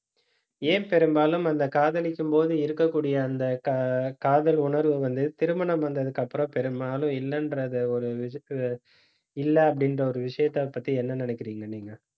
ஏன் பெரும்பாலும் அந்த காதலிக்கும்போது இருக்கக்கூடிய அந்த கா~ காதல் உணர்வு வந்து, திருமணம் வந்ததுக்கு அப்புறம் பெரும்பாலும் இல்லைன்றதை ஒரு இதுக்கு இல்லை அப்படின்ற ஒரு விஷயத்தைப் பத்தி என்ன நினைக்கிறீங்க நீங்க